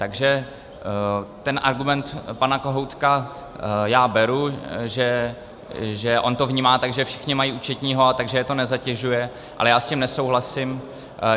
Takže ten argument pana Kohoutka já beru, že on to vnímá tak, že všichni mají účetního, takže je to nezatěžuje, ale já s tím nesouhlasím.